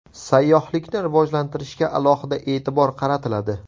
Sayyohlikni rivojlantirishga alohida e’tibor qaratiladi.